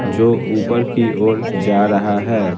जो ऊपर की ओर जा रहा है।